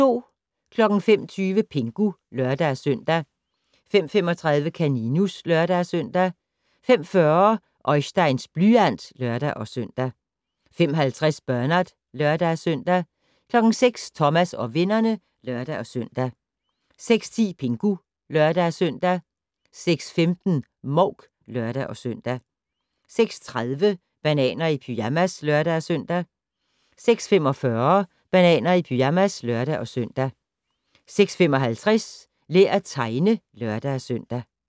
05:30: Pingu (lør-søn) 05:35: Kaninus (lør-søn) 05:40: Oisteins blyant (lør-søn) 05:50: Bernard (lør-søn) 06:00: Thomas og vennerne (lør-søn) 06:10: Pingu (lør-søn) 06:15: Mouk (lør-søn) 06:30: Bananer i pyjamas (lør-søn) 06:45: Bananer i pyjamas (lør-søn) 06:55: Lær at tegne (lør-søn)